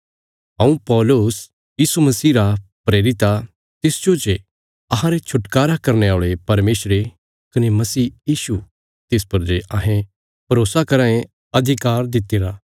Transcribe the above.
हऊँ पौलुस यीशु मसीह रा प्रेरित आ तिसजो जे अहांरे छुटकारा करने औल़े परमेशरे कने मसीह यीशु तिस पर जे अहें भरोसा कराँ ये अधिकार दित्तिरा